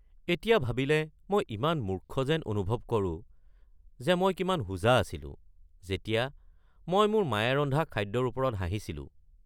এতিয়া ভাবিলে মই ইমান মূৰ্খ যেন অনুভৱ কৰোঁ যে মই কিমান হোজা আছিলোঁ যেতিয়া মই মোৰ মায়ে ৰন্ধা খাদ্যৰ ওপৰত হাঁহিছিলোঁ।